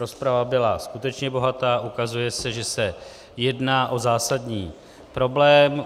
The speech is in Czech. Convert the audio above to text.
Rozprava byla skutečně bohatá, ukazuje se, že se jedná o zásadní problém.